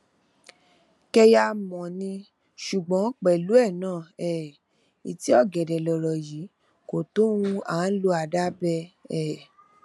kẹyàmọ ní ṣùgbọn pẹlú ẹ náà um ìtì ọgẹdẹ lọrọ yìí kò tó ohùn áà lọ àdá bẹ um